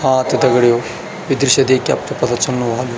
हाँ त दगड़ियों यि दृश्य देख के आपतैं पता चल्नु ह्वालू --